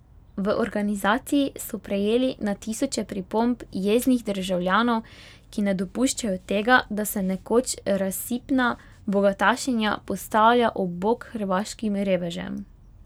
V organizaciji so prejeli na tisoče pripomb jeznih državljanov, ki ne dopuščajo tega, da se nekoč razsipna bogatašinja postavlja ob bok hrvaškim revežem.